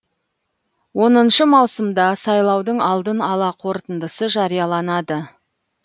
оныншы маусымда сайлаудың алдын ала қорытындысы жарияланады